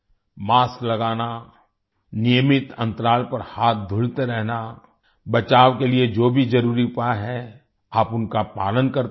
mask लगाना नियमित अंतराल पर हाथ धुलते रहना बचाव के लिए जो भी जरुरी उपाय हैं आप उनका पालन करते रहें